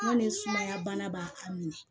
Hali ni sumaya bana b'a minɛ